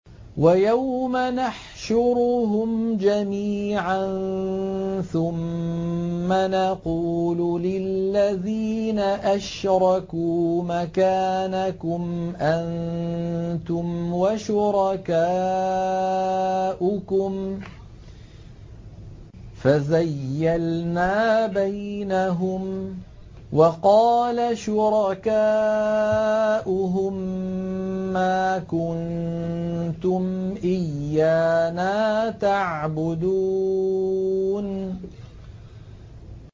وَيَوْمَ نَحْشُرُهُمْ جَمِيعًا ثُمَّ نَقُولُ لِلَّذِينَ أَشْرَكُوا مَكَانَكُمْ أَنتُمْ وَشُرَكَاؤُكُمْ ۚ فَزَيَّلْنَا بَيْنَهُمْ ۖ وَقَالَ شُرَكَاؤُهُم مَّا كُنتُمْ إِيَّانَا تَعْبُدُونَ